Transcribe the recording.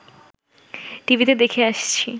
টিভিতে দেখে আসছি